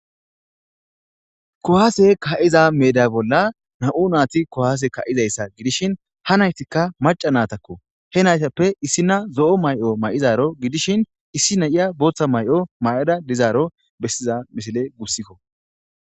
kuwase ka'iza meeda bolla naiu naati kuwaase ka'izayssa gidishin ha naytikka maca naatakko he naytappe issina zo'o mayo may'idaro gidishin issi na'iya booththa mayo mau'ada dizaro bessiza misile gussikko